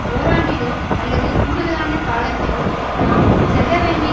ஓராண்டிலோ அல்லது கூடுதலான காலத்திலோ நாம் செல்ல வேண்டிய